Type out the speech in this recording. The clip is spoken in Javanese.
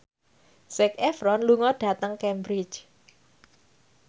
Zac Efron lunga dhateng Cambridge